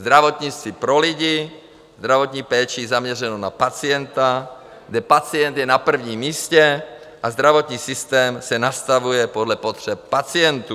Zdravotnictví pro lidi, zdravotní péči zaměřenou na pacienta, kde pacient je na prvním místě a zdravotní systém se nastavuje podle potřeb pacientů.